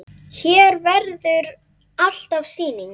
Hér verður alltaf sýning.